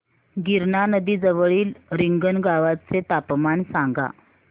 गिरणा नदी जवळील रिंगणगावाचे तापमान सांगा